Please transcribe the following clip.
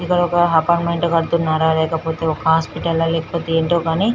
ఇక్కడ ఒక apartment కడుతున్నార లేకపోతే ఒక హాస్పిటల్ హ లేకపోతే ఏంటో కానీ --